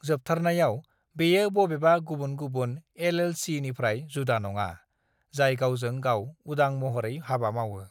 "जोबथारनायाव, बेयो बबेबा गुबुन गुबुन एल.एल.सी.निफ्राय जुदा नङा, जाय गावजों-गाव उदां महरै हाबा मावो।"